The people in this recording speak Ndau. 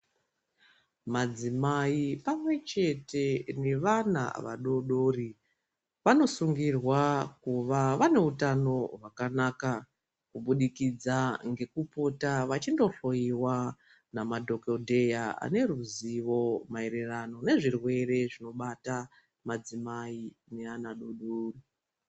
Madzimai pamwechete nevana vadoodori vanosungirwa kuva vaneutano hwakanaka kubudikidza ngekupota vachindohloyiwa namadhokodheya ane ruzivo maererano nezvirwere zvinobata madzimai neana adoodori.